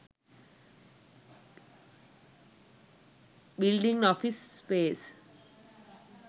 building office space